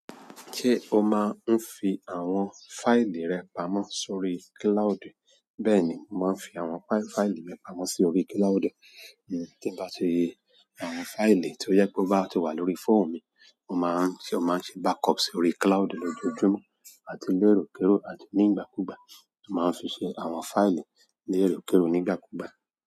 Ṣé o máa ń fi àwọn fáìlì rẹ pamọ́ sórí kíláúdù? Bẹ́ẹ̀ni, mo máa ń fi àwọn fáìlì mi pamọ́ sórí kíláúdù. Tí n bá ti, àwọn fáìlì tó jẹ́ pé ó bá ti wà lórí fóònù mi, ó máa n ṣe backup sí orí kíláùdú lójoojúmó àti léròkérò àti nígbàkúgbà. Ó máa n fi ṣe àwọn fáìlì, ni èròkérò àti nígbàkúgbà.